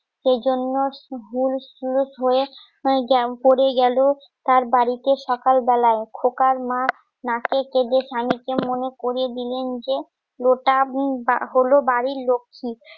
সেই জন্য পরে গেলো তার বাড়িতে সকাল বেলায় খোকার মা নাকে কেঁদে সানিকে মনে করিয়ে দিলে নিজে লোটাহল বাড়ির লক্ষী তাহলে